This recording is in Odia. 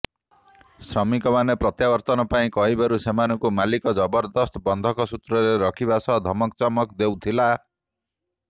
ଶ୍ରମିକମାନେ ପ୍ରତ୍ୟାବର୍ତ୍ତନ ପାଇଁ କହିବାରୁ ସେମାନଙ୍କୁ ମାଲିକ୍ ଜବରଦସ୍ତ ବନ୍ଧକ ସୂତ୍ରରେ ରଖିବା ସହ ଧମକଚମକ ଦେଉଥିଲା